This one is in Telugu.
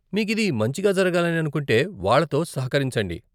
మీకు ఇది మంచిగా జరగాలని అనుకుంటే, వాళ్ళతో సహకరించండి.